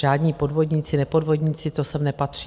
Žádní podvodníci, nepodvodníci, to sem nepatří.